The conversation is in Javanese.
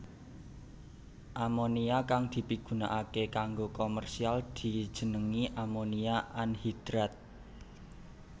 Amonia kang dipigunakaké kanggo komersial dijenengi amonia anhidrat